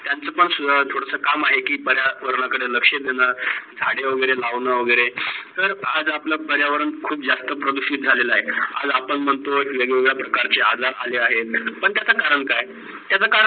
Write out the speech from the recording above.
त्यांचे पण थोडेसे काम आहे की पर्यावरण कडे लक्ष देण, झ्हाडे वगैरे लावणं वगैरे. तर आज आपल पर्यावरण खूप जास्त प्रदूषित झ्हालेल आहे. आज आपण म्हणतो की वेग - वेगडा प्रकारचे अवजार आलेला आहेत. पण त्याचा करण काय? त्याचा करण